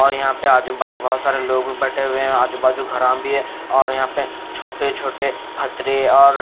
और यहाँ पे आजू-बाजू बहुत सारे लोग भी बैठे हुए हैं आजू-बाजू घरा भी हैं और यहाँ पे छोटे-छोटे फथरे और--